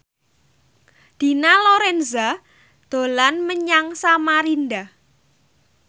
Dina Lorenza dolan menyang Samarinda